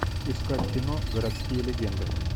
искать кино городские легенды